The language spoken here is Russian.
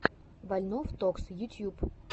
вольнов токс ютьюб